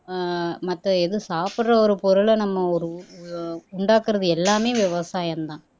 ஆஹ் மத்த எதுவும் சாப்பிடற ஒரு பொருளை நம்ம ஒரு ஒரு உண்டாக்கறது எல்லாமே விவசாயம்தான்